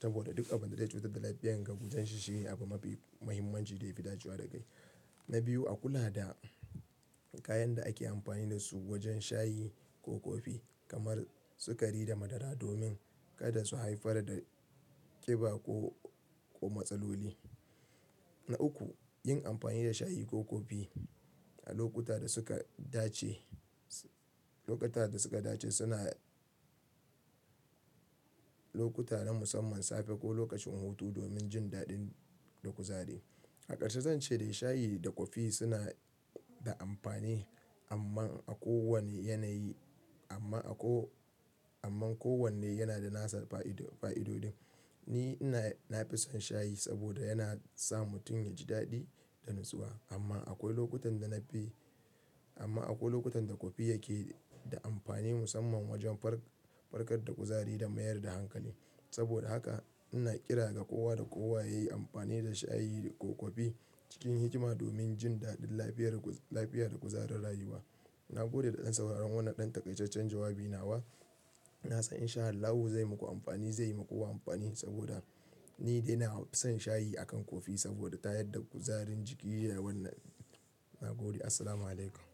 saboda duk abun da zai cutar da lafiyarka kusan shi shine abu mafi muhimmanci da yafi dacewa da kai. Na biyu, a kula da kayan da ake amfani da su wajen shayi ko kofi kamar sukari da madara domin kada su haifar da ƙiba ko ko matsaloli. Na uku, yin amfani da shayi ko kofi a lokuta da suka dace lokuta da suka dace suna lokuta na musamman safe ko lokacin hutu domin jin daɗin da kuzari. A ƙarshe zan ce dai shayi da kofi suna da amfani amma a kowanne yanayi amma a ko amma kowanne yana da nasa fa'ido fa'idodin. Ni ina na fi son shayi saboda yana sa mutum yaji daɗi da natsuwa. Amma akwai lokutan da na fi amma akwai lokutan da kofi yake da amfani musamman wajen far fargar da kuzari da mayar da hankali. Saboda haka ina kira ga kowa da kowa ya yi amfani da shayi ko kofi cikin hikima domin jin daɗin lafiyar lafiya da kuzarin rayuwa. Na gode da ɗan sauraron wannan ɗan takaitaccen jawabi nawa. Na san InshaAllahu zai muku amfani, zai muku amfani saboda ni dai na fi son shayi akan kofi saboda tayar da kuzarin jiki ya wannan na gode. Assalamualaikum.